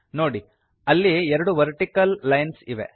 ನೋಡಿ ಅಲ್ಲಿ ಎರಡು ವರ್ಟಿಕಲ್ ಲೈನ್ಸ್ ಇವೆ